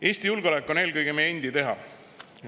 Eesti julgeolek on eelkõige meie endi teha.